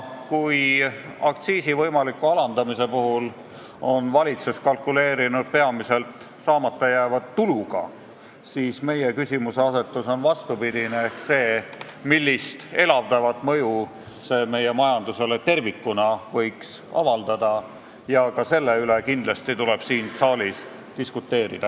Kui aktsiisi võimaliku alandamise puhul on valitsus kalkuleerinud peamiselt saamata jääva tuluga, siis meie küsimuseasetus on vastupidine ehk see, millist elavdavat mõju see meie majandusele tervikuna võiks avaldada, sest ka selle üle tuleb siin saalis kindlasti diskuteerida.